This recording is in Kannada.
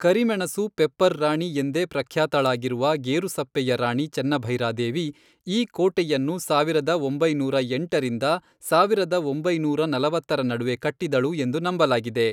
ಕರಿಮೆಣಸು ಪೆಪ್ಪರ್ ರಾಣಿ ಎಂದೇ ಪ್ರಖ್ಯಾತಳಾಗಿರುವ ಗೇರುಸಪ್ಪೆಯ ರಾಣಿ ಚೆನ್ನಭೈರಾದೇವಿ, ಈ ಕೋಟೆಯನ್ನು ಸಾವಿರದ ಒಂಬೈನೂರ ಎಂಟರಿಂದ ಸಾವಿರದ ಒಂಬೈನೂರ ನಲವತ್ತರ ನಡುವೆ ಕಟ್ಟಿದಳು ಎಂದು ನಂಬಲಾಗಿದೆ.